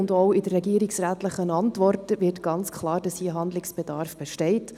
Auch aus der Antwort des Regierungsrates wird ganz klar, dass hier Handlungsbedarf besteht.